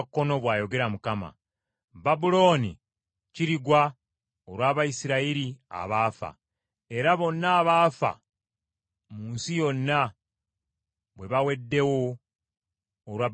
“Babulooni kirigwa olw’Abayisirayiri abaafa, nga bonna abaafa mu nsi yonna bwe baweddewo olwa Babulooni.